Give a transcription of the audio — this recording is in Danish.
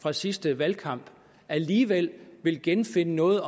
fra sidste valgkamp alligevel vil genfinde noget